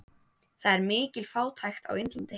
Það er mikil fátækt á Indlandi.